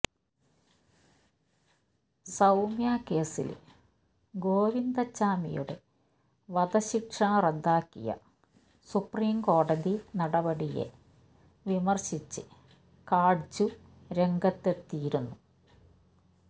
സൌമ്യ കേസില് ഗോവിന്ദച്ചാമിയുടെ വധശിക്ഷ റദ്ദാക്കിയ സുപ്രീം കോടതി നടപടിയെ വിമര്ശിച്ച് കാട്ജു രംഗത്തെത്തിയിരുന്നു